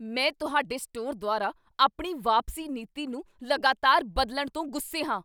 ਮੈਂ ਤੁਹਾਡੇ ਸਟੋਰ ਦੁਆਰਾ ਆਪਣੀ ਵਾਪਸੀ ਨੀਤੀ ਨੂੰ ਲਗਾਤਾਰ ਬਦਲਣ ਤੋਂ ਗੁੱਸੇ ਹਾਂ।